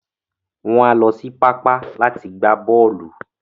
Wọn á lọ sí pápá láti gbà bọ́ọ̀lù.